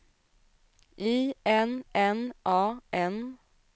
I N N A N